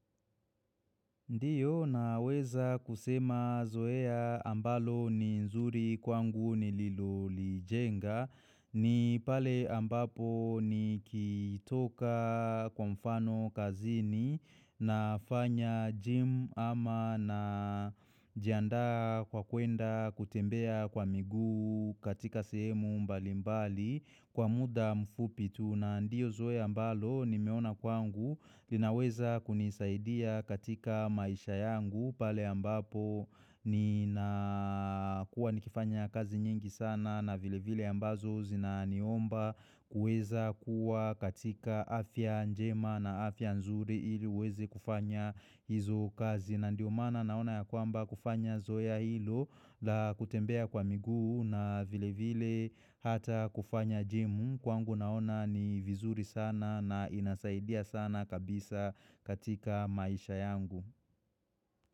Ndiyo naweza kusema zoea ambalo ni nzuri kwangu ni Liloli jenga ni pale ambapo ni kitoka kwa mfano kazini na fanya gym ama na jianda kwa kuenda kutembea kwa miguu katika sehemu mbali mbali kwa muda mfupitu. Na ndio zoea ambalo nimeona kwangu linaweza kunisaidia katika maisha yangu pale ambapo nina kuwa nikifanya kazi nyingi sana na vile vile ambazo zinaniomba kuweza kuwa katika afya njema na afya nzuri ili uweze kufanya hizo kazi na ndio maana naona ya kwamba kufanya zoe ya ilo la kutembea kwa miguu na vile vile hata kufanya jimu Kwangu naona ni vizuri sana na inasaidia sana kabisa katika maisha yangu.